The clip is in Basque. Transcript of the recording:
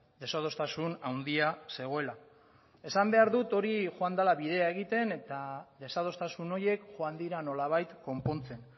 desadostasun handia zegoela esan behar dut hori joan dela bidea egiten eta desadostasun horiek joan dira nolabait konpontzen